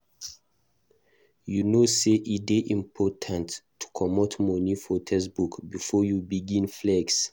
You know sey e dey important to comot money for textbook before you begin flex.